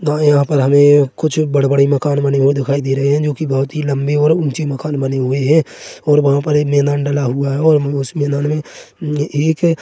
guys यहाँ पर हमें कुछ बड़े-बड़े मकान बने हुए दिखाई दे रहे हैं जो कि बहोत ही लंबे और ऊंचे मकान बने हुए हैं और वहाँ पर एक मैदान डाला हुआ है और उस मैदान में एक --